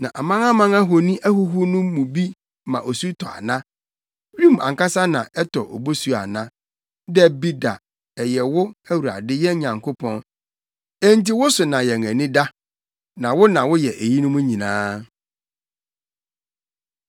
Na amanaman ahoni ahuhuw no mu bi ma osu tɔ ana? Wim ankasa na ɛtɔ obosu ana? Dabi da, ɛyɛ wo, Awurade yɛn Nyankopɔn. Enti wo so na yɛn ani da, na wo na woyɛ eyinom nyinaa.